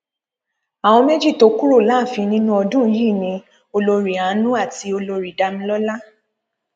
àwọn méjì tó kúrò láàfin nínú ọdún yìí ni olórí àánú àti olórí damilọla